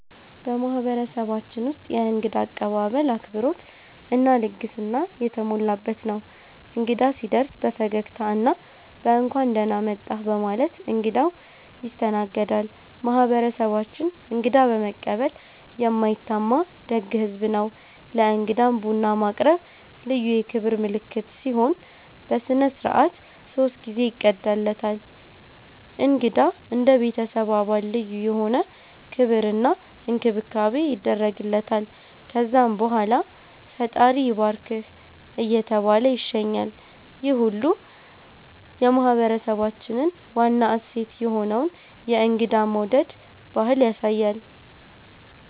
በማህበረሰባችን ውስጥ የእንግዳ አቀባበል አክብሮት እና ልግስና የተሞላበት ነው። እንግዳ ሲደርስ በፈገግታ እና በ“እንኳን ደህና መጣህ” በማለት እንግዳው ይስተናገዳል። ማህበረሰባችን እንግዳ በመቀበል የማይታማ ደግ ህዝብ ነው። ለእንግዳም ቡና ማቅረብ ልዩ የክብር ምልክት ሲሆን፣ በሥነ ሥርዓት ሶስት ጊዜ ይቀዳለታል። እንግዳ እንደ ቤተሰብ አባል ልዩ የሆነ ክብር እና እንክብካቤ ይደረግለታል። ከዛም በኋላ “ፈጣሪ ይባርክህ” እየተባለ ይሸኛል፣ ይህ ሁሉ የማህበረሰባችንን ዋና እሴት የሆነውን የእንግዳ መውደድ ባህል ያሳያል።